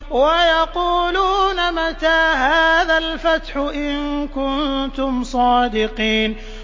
وَيَقُولُونَ مَتَىٰ هَٰذَا الْفَتْحُ إِن كُنتُمْ صَادِقِينَ